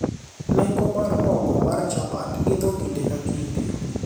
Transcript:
nengo mar mogo mar chapat idho kinde ka kinde